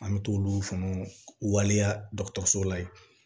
An bɛ t'olu fana waleya dɔgɔtɔrɔso la yen